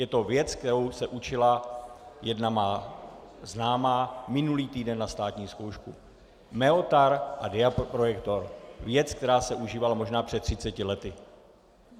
Je to věc, kterou se učila jedna má známá minulý týden na státní zkoušku - meotar a diaprojektor, věc, která se užívala možná před 30 lety.